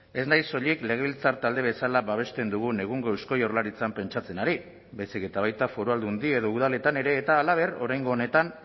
ez naiz soilik legebiltzar talde bezala babesten dugun egungo eusko jaurlaritzan pentsatzen ari baizik eta baita foru aldundi edo udaletan ere eta halaber oraingo honetan